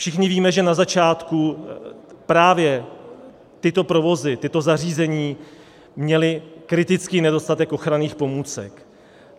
Všichni víme, že na začátku právě tyto provozy, tato zařízení měla kritický nedostatek ochranných pomůcek.